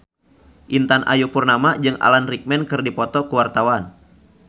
Intan Ayu Purnama jeung Alan Rickman keur dipoto ku wartawan